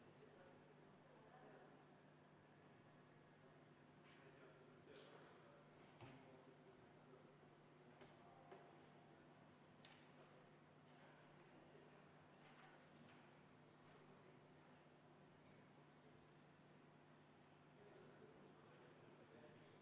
Aitäh, austatud eesistuja!